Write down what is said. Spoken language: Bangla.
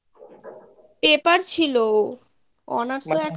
paper ছিলো honours এ একটাই